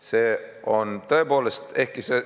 See on tõepoolest nii.